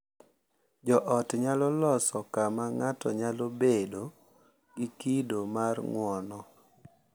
Jo ot nyalo loso kama ng’ato nyalo bedo gi kido mar ng’uono